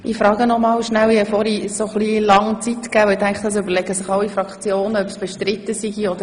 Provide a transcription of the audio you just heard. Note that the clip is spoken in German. Ich frage noch einmal: Gibt es weitere Fraktionssprechende?